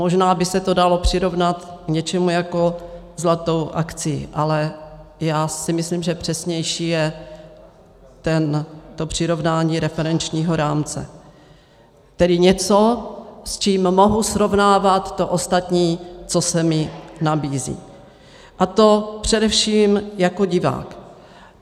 Možná by se to dalo přirovnat k něčemu jako zlaté akcii, ale já si myslím, že přesnější je to přirovnání referenčního rámce, tedy něco, s čím mohu srovnávat to ostatní, co se mi nabízí, a to především jako divák.